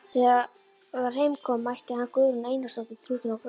Þegar heim kom mætti hann Guðrúnu Einarsdóttur þrútinni og grátandi.